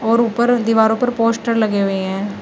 और ऊपर दीवारों पर पोस्टर लगे हुए हैं।